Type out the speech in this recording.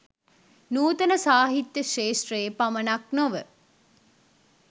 නුතන සාහිත්‍ය ක්ෂත්‍රයේ පමණක් නොව